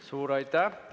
Suur aitäh!